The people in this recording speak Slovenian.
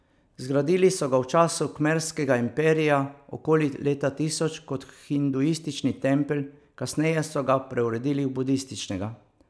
Zgradili so ga v času Kmerskega imperija okoli leta tisoč kot hinduistični tempelj, kasneje so ga preuredili v budističnega.